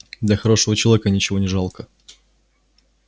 для хорошего человека ничего не жалко